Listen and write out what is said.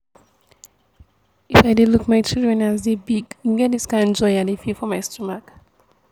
if i dey look my children as dey big e get dis kind joy i dey feel for my stomach